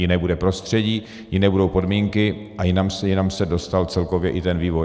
Jiné bude prostředí, jiné budou podmínky a jinam se dostal celkově i ten vývoj.